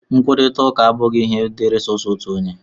Nkwurịta ụka abụghị ihe dịịrị sọọsọ otu onye